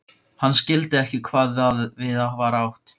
Hann skildi ekki hvað við var átt.